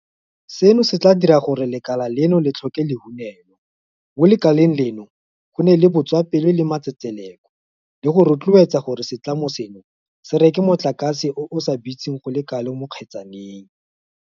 Seno se tla dira gore lekala leno le tlhoke lehunelo, mo lekaleng leno go nne le botswapelo le matsetseleko le go rotloetsa gore setlamo seno se reke motlakase o o sa bitseng go le kalo mo kgetsaneng.